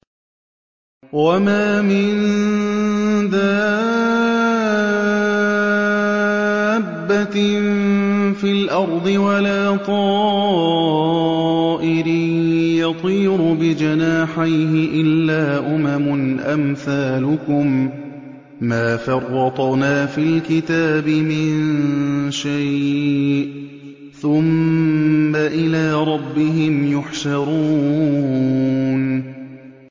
وَمَا مِن دَابَّةٍ فِي الْأَرْضِ وَلَا طَائِرٍ يَطِيرُ بِجَنَاحَيْهِ إِلَّا أُمَمٌ أَمْثَالُكُم ۚ مَّا فَرَّطْنَا فِي الْكِتَابِ مِن شَيْءٍ ۚ ثُمَّ إِلَىٰ رَبِّهِمْ يُحْشَرُونَ